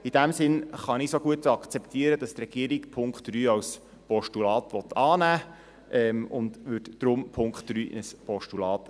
In diesem Sinn kann ich es auch gut akzeptieren, dass die Regierung den Punkt 3 als Postulat annehmen will, und deshalb wandle ich den Punkt 3 in ein Postulat.